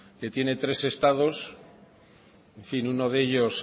que tiene tres estados en fin uno de ellos